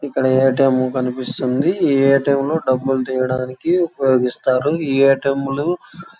ఇక్కడ A. T. M. కనిపిస్తుంది A. T. M. డబ్బులు తీయడానికి ఉపయోగిస్తారు ఏ. టీ. ఎం. లో --